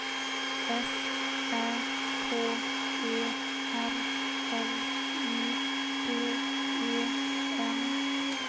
S Ä K E R L I G E N